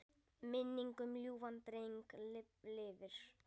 Minning um ljúfan dreng lifir.